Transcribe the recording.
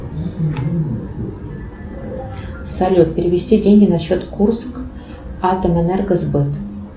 салют перевести деньги на счет курскатомэнергосбыт